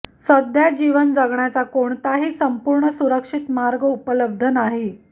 सध्या जीवन जगण्याचा कोणताही संपूर्ण सुरक्षित मार्ग उपलब्ध नाही